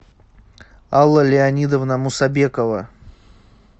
алла леонидовна мусабекова